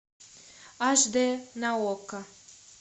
аш дэ на окко